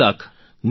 90 lakh